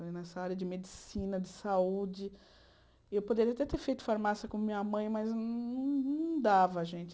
E nessa área de medicina, de saúde... Eu poderia até ter feito farmácia como minha mãe, mas não não não dava, gente.